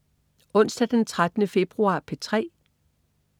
Onsdag den 13. februar - P3: